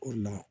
O le la